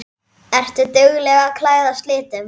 Ertu dugleg að klæðast litum?